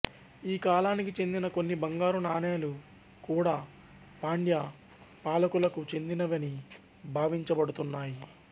ఈ కాలానికి చెందిన కొన్ని బంగారు నాణేలు కూడా పాండ్య పాలకులకు చెందినవని భావించబడుతున్నాయి